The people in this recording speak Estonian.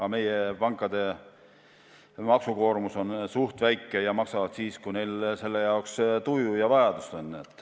Aga meie pankade maksukoormus on suhteliselt väike ja nad maksavad siis, kui neil selleks tuju ja vajadus on.